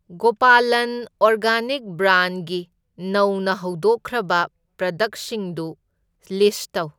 Gopalan organic ꯕ꯭ꯔꯥꯟꯒꯤ ꯅꯧꯅ ꯍꯧꯗꯣꯛꯈ꯭ꯔꯕ ꯄ꯭ꯔꯗꯛꯁꯤꯡꯗꯨ ꯂꯤꯁꯠ ꯇꯧ꯫